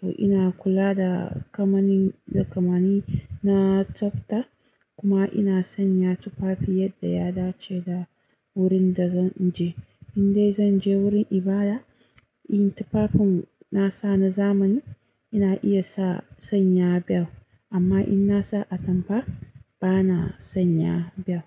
To ina kula da kamani, da kamani na tsafta kuma ina sanya tufafi yadda ya dace da wurin da zan je. Indai zan je wurin ibada, irin tufafin na sa na zamani ina iya sa, sanya bel amma in na sa atamfa bana sanya bel.